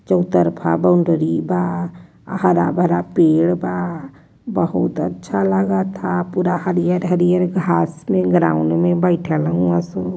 चौतरफा बाउंड्री बा हरा भरा पेड़ बा बहुत अच्छा लगा बा पूरा हरिहर हरिहर घास बा। ग्राउंड में घास बैठल हउए सन --